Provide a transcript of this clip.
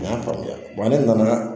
A y'a faamuya ne nana